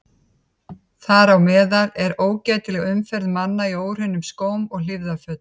Þar á meðal er ógætileg umferð manna í óhreinum skóm og hlífðarfötum.